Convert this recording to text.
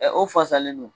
Ɛ o fasalen don